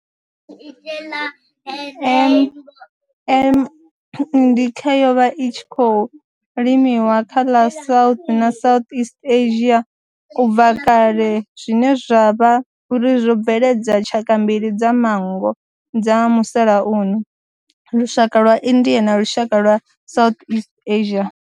M. indica yo vha i tshi khou limiwa kha ḽa South na Southeast Asia ubva kale zwine zwa vha uri zwo bveledza tshaka mbili dza manngo dza musalauno, lushaka lwa India na lushaka lwa Southeast Asia.